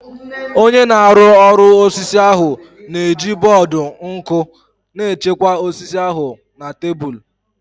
Onye na-arụ ọrụ osisi ahụ na-eji bọọdụ nku na-echekwa osisi ahụ na tebụl